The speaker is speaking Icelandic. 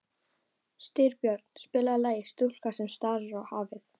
Styrbjörn, spilaðu lagið „Stúlkan sem starir á hafið“.